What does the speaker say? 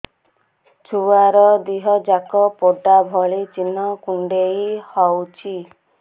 ଛୁଆର ଦିହ ଯାକ ପୋଡା ଭଳି ଚି଼ହ୍ନ କୁଣ୍ଡେଇ ହଉଛି